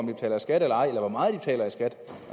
betaler skat eller ej eller hvor meget de betaler i skat